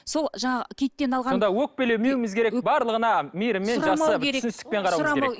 сол жаңағы киттен алған сонда өкпелемеуіміз керек барлығына мейіріммен жақсы түсіністікпен қарауымыз керек